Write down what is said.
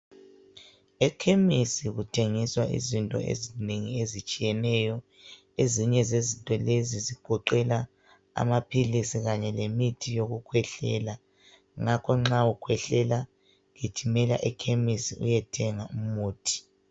Ekhemisi kuthengiswa izinto ezinengi ezitshiyeneyo. Ezinye zezinto lezi zigoqela amaphilisi kanye lemithi yokukhwehlela. Ngakho nxa ukhwehlela gijimela ekhemisi uyethenga umuthi.